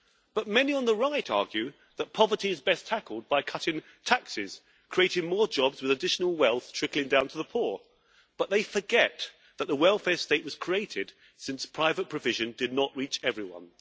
But many on the Right argue that poverty is best tackled by cutting taxes, creating more jobs with additional wealth trickling down to the poor, but they forget that the welfare state was created since private provision did not reach everyone.